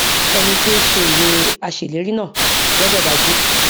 ẹni tí ó ṣe ìwé aṣèlérí náà gbọdọ dájú